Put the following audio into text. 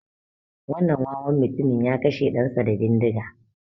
Wannan wawan mutumin ya kashe ɗan sa da bindiga